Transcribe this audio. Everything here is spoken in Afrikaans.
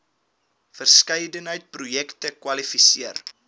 verskeidenheid projekte kwalifiseer